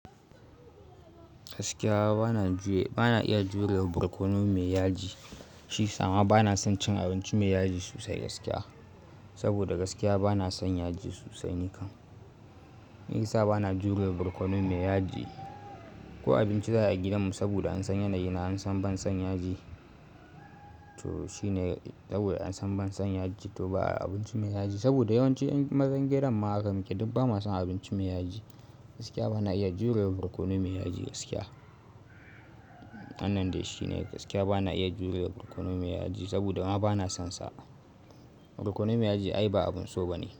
Gaskiya bana iya jure ma borkono mai yaji. Shi sama bana son cin abinci mai yaji sosai gaskiya. Saboda gaskiya bana son yaji sosai nikan. Ni sai bana jure da borkono mai yaji. Ko abinci zai ai gidanmu saboda an san yanayi na an san ban son yaji. To shi ne saboda an san ban son yaji to ba a abinci mai yaji. Saboda yawanci 'yan mazan gidan mahaka mu ke duk ba ma son abinci mai yaji. Gaskiya bana iya jurewa borkono mai yaji gaskiya. Hannan dai shi ne gaskiya bana iya jurewa borkono mai yaji saboda ma bana sonsa. Borkono mai yaji ai ba abun so ba ne.